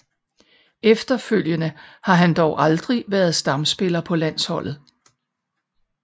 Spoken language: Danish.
Efterfølgende har han dog aldrig været stamspiller på landsholdet